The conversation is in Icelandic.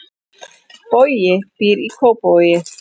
Bogi býr í Kópavogi.